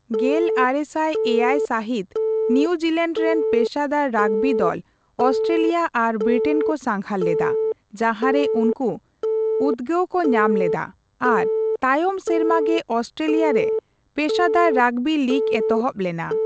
ᱜᱮᱞᱟᱨᱮᱥᱟᱭ ᱮᱭᱟᱭ ᱥᱟᱦᱤᱛ, ᱱᱤᱭᱩᱡᱤᱞᱮᱱᱰ ᱨᱮᱱ ᱯᱮᱥᱟᱫᱟᱨ ᱨᱟᱜᱽᱵᱤ ᱫᱚᱞ ᱚᱥᱴᱨᱮᱞᱤᱭᱟ ᱟᱨ ᱵᱨᱤᱴᱮᱱ ᱠᱚ ᱥᱟᱜᱷᱟᱨ ᱞᱮᱫᱟ, ᱡᱟᱦᱟᱸᱨᱮ ᱩᱱᱠᱩ ᱩᱫᱜᱟᱹᱣ ᱠᱚ ᱧᱟᱢ ᱞᱮᱫᱟ ᱟᱨ ᱛᱟᱭᱚᱢ ᱥᱮᱨᱢᱟ ᱜᱮ ᱚᱥᱴᱨᱮᱞᱤᱭᱟ ᱨᱮ ᱯᱮᱥᱟᱫᱟᱨ ᱨᱟᱜᱽᱵᱤ ᱞᱤᱜᱽ ᱮᱛᱚᱦᱚᱵ ᱞᱮᱱᱟ ᱾